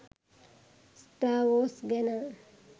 star Wars ගැන